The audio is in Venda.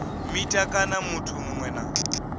mita kana muthu muṅwe na